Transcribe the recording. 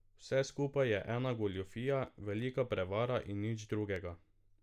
Vse skupaj je ena goljufija, velika prevara in nič drugega.